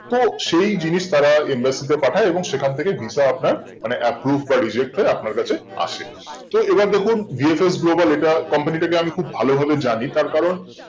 তো সেই জিনিস তারা embassy তে পাঠাই এবং সেখান থেকে visa আপনার মানে approve বা reject আপনার কাছে আসে তো এবার দেখুন VFS Global এটা company টাকে খুব ভালো জানি তার কারণ